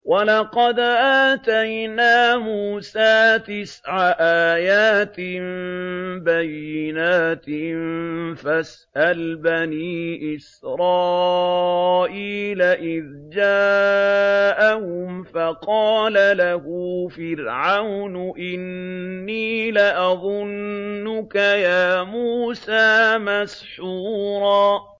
وَلَقَدْ آتَيْنَا مُوسَىٰ تِسْعَ آيَاتٍ بَيِّنَاتٍ ۖ فَاسْأَلْ بَنِي إِسْرَائِيلَ إِذْ جَاءَهُمْ فَقَالَ لَهُ فِرْعَوْنُ إِنِّي لَأَظُنُّكَ يَا مُوسَىٰ مَسْحُورًا